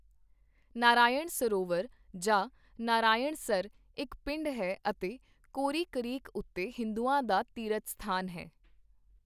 ਨਾਰਾਇਣ ਸਰੋਵਰ ਜਾਂ ਨਰਾਇਣਸਰ ਇੱਕ ਪਿੰਡ ਹੈ ਅਤੇ ਕੋਰੀ ਕਰੀਕ ਉੱਤੇ ਹਿੰਦੂਆਂ ਦਾ ਤੀਰਥ ਸਥਾਨ ਹੈ।